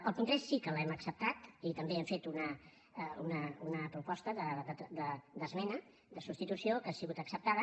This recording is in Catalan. el punt tres sí que l’hem acceptat i també hi hem fet una proposta d’esmena de substitució que ha sigut acceptada